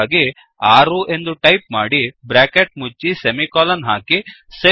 ಹಾಗಾಗಿ 6 ಎಂದು ಟೈಪ್ ಮಾಡಿ ಬ್ರ್ಯಾಕೆಟ್ ಮುಚ್ಚಿ ಸೆಮಿಕೋಲನ್ ಹಾಕಿ